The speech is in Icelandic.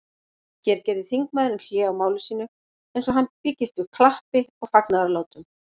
Hér gerði þingmaðurinn hlé á máli sínu, eins og hann byggist við klappi og fagnaðarlátum.